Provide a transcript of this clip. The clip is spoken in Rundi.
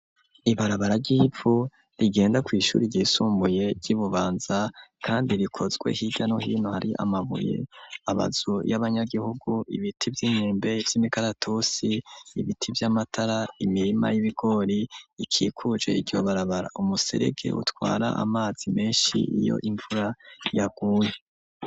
Ibarabara ry'ipfu rigenda ku ishuri ryisumbuye ryi Bubanza kandi rikozwe higano hino hari amabuye abazu y'abanyagihugu ibiti vy'imyembe vy'imikaratusi ibiti vy'amatara imirima y'ibigori ikikuje iryo barabara umuserege utwara amazi menshi iyo imvura yaguye.